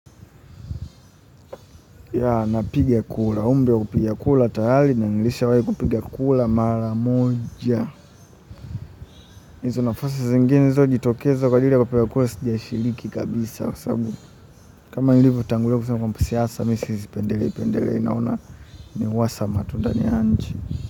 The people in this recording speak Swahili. Ya napiga kura, umri wa kupiga kura tarari na nilisha wai kupiga kura mara moja. Nizo nafasi zingine zilizojitokeza kwa ajili ya kupiga kura sijashiriki kabisa kama nilivyotangulia kusema kwa mimi siasa mi sizipendeleipendelei naona ni uasama tu ndani ya nchi.